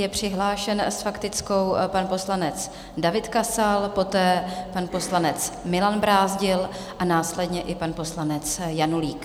Je přihlášen s faktickou pan poslanec David Kasal, poté pan poslanec Milan Brázdil - a následně i pan poslanec Janulík.